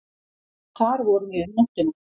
Þar vorum við um nóttina.